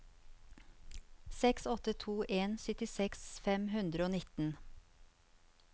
seks åtte to en syttiseks fem hundre og nittien